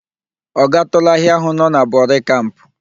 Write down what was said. Ọ gatụụla ahịa ahụ nọ na Bori Kamp?